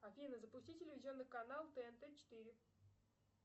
афина запусти телевизионный канал тнт четыре